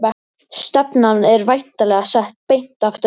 Stefnan er væntanlega sett beint aftur upp?